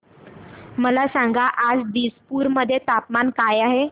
मला सांगा आज दिसपूर मध्ये तापमान काय आहे